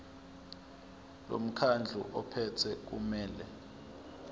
lomkhandlu ophethe kumele